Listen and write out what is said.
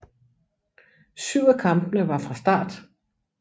Syv af kampene var fra start